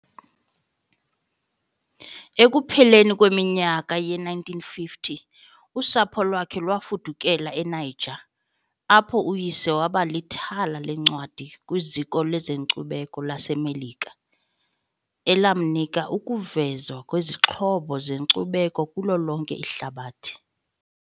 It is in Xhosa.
Ekupheleni kweminyaka yee-1950 usapho lwakhe lwafudukela eNiger, apho uyise waba lithala leencwadi kwiZiko lezeNkcubeko laseMelika, elamnika ukuvezwa kwezixhobo zenkcubeko kulo lonke ihlabathi.